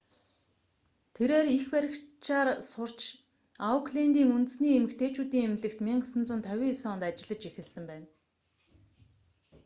тэрээр эх баригчаар сурч ауклэндийн үндэсний эмэгтэйчүүдийн эмнэлэгт 1959 онд ажиллаж эхэлсэн байна